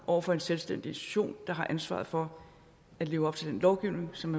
over for en selvstændig institution der har ansvaret for at leve op til den lovgivning som